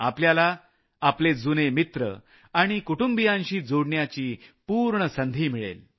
आपल्याला आपले जुने मित्र आणि कुटुंबियांशी जोडण्याची पूर्ण संधी मिळेल